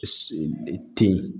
Ten